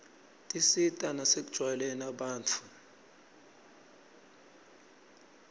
tisita nasekujwayeleni abantfu